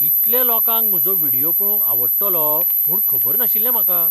इतल्या लोकांक म्हजो व्हिडियो पळोवंक आवडटलो म्हूण खबर नाशिल्लें म्हाका!